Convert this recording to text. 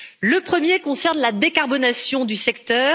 Le premier concerne la décarbonation du secteur.